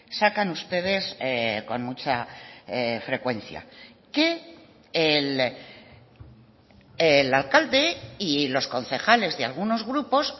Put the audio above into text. sacan ustedes con mucha frecuencia que el alcalde y los concejales de algunos grupos